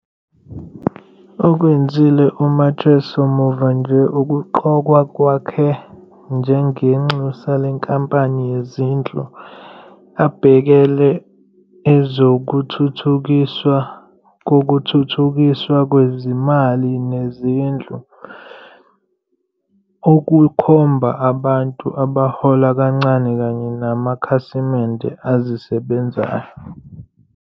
Okwenzile uMacheso muva nje ukuqokwa kwakhe njengenxusa lenkampani yezindlu, ebhekele ezokuThuthukiswa kokuThuthukiswa kweziMali neziNdlu, okukhomba abantu abahola kancane kanye namakhasimende azisebenzayo.